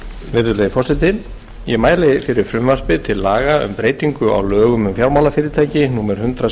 virðulegi forseti ég mæli fyrir frumvarpi til laga um breytingu á lögum um fjármálafyrirtæki númer hundrað